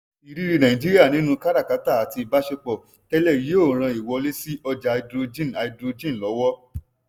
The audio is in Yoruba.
ìrírí nàìjíríà nínú káràkátà àti ìbásepọ̀ tẹ́lẹ̩ yóò ran ìwọlé sí ọjá háídírójìn háídírójìn lọ́wọ́.